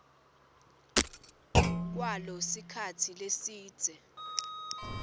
kwalo sikhatsi lesidze